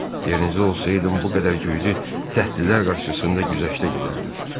Yerinizə olsaydım, bu qədər güclü dəlillər qarşısında güzəştə gedərdim.